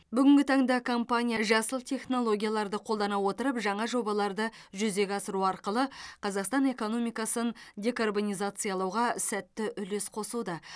бүгінгі таңда компания жасыл технологияларды қолдана отырып жаңа жобаларды жүзеге асыру арқылы қазақстан экономикасын декарбонизациялауға сәтті үлес қосуда